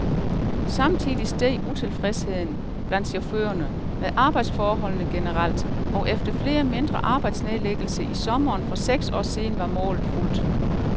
Samtidig steg utilfredsheden, blandt chaufførerne, med arbejdsforholdene generelt, og efter flere mindre arbejdsnedlæggelser i sommeren for seks år siden var målet fuldt.